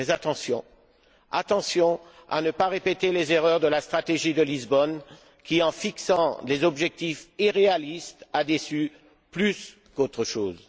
Mais prenons garde de ne pas répéter les erreurs de la stratégie de Lisbonne qui, en fixant des objectifs irréalistes, a déçu plus qu'autre chose.